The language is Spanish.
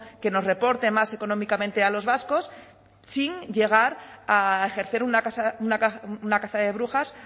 que nos reporte más económicamente a los vascos sin llegar a ejercer una caza de brujas